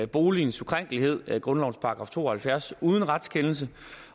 boligens ukrænkelighed grundlovens § to og halvfjerds uden retskendelse